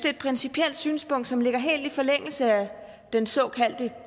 et principielt synspunkt som ligger helt i forlængelse af den såkaldte